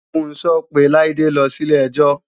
Funso pe Laide lọ sí ilé-ẹjọ́